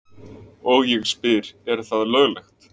Og ég spyr er það löglegt?